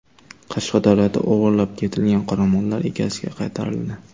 Qashqadaryoda o‘g‘irlab ketilgan qoramollar egasiga qaytarildi.